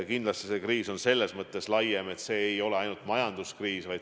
Kindlasti on see kriis selles mõttes laiem, et see ei ole ainult majanduskriis.